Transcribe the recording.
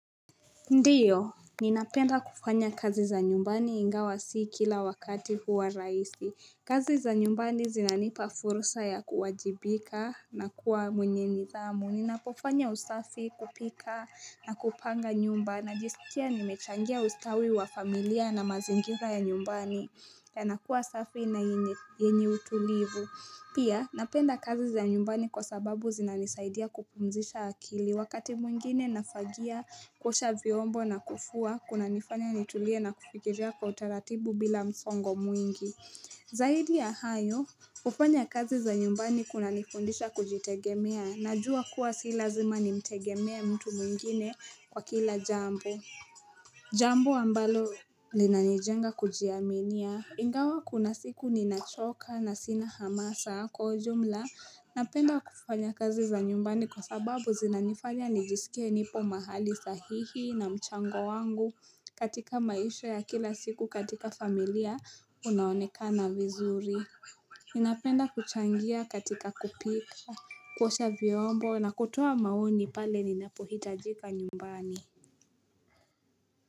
Ndio, ninapenda kufanya kazi za nyumbani ingawa sii kila wakati huwa rahisi kazi za nyumbani zinanipa fursa ya kuwajibika na kuwa mwenye nithamu Ninapofanya usafi kupika na kupanga nyumba najiskia nimechangia ustawi wa familia na mazingira ya nyumbani yanakuwa usafi na yenye yenye utulivu Pia, napenda kazi za nyumbani kwa sababu zinanisaidia kupumzisha akili Wakati mwingine nafagia kuosha viombo na kufua, kunanifanya nitulie na kufikiria kwa utaratibu bila msongo mwingi. Zaidi ya hayo, kufanya kazi za nyumbani kunanifundisha kujitegemea. Najua kuwa silazima nimtegemea mtu mwingine kwa kila jambo. Jambo ambalo linanijenga kujiaminia. Ingawa kuna siku ninachoka na sina hamasa kwa ujumla Napenda kufanya kazi za nyumbani kwa sababu zinanifanya nijisikie nipo mahali sahihi na mchango wangu katika maisha ya kila siku katika familia unaoneka na vizuri Ninapenda kuchangia katika kupika, kuosha vyombo na kutoa maoni pale ninapuhitajika nyumbani.